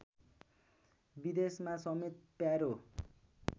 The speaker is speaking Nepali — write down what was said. विदेशमा समेत प्यारो